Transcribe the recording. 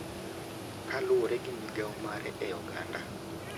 Kaluwore gi migao mare e oganda.